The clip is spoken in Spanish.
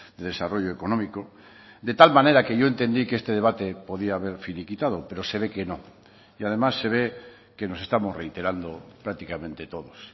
de desarrollo económico de tal manera que yo entendí que este debate podía haber finiquitado pero se ve que no y además se ve que nos estamos reiterando prácticamente todos